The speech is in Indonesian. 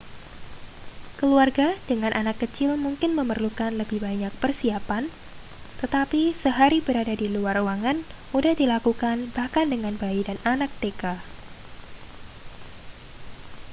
keluarga dengan anak kecil mungkin memerlukan lebih banyak persiapan tetapi sehari berada di luar ruangan mudah dilakukan bahkan dengan bayi dan anak tk